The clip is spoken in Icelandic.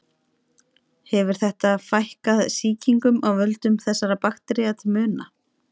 Hefur þetta fækkað sýkingum af völdum þessara baktería til muna.